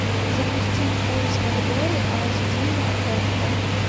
запусти в поисках дори аш ди на окко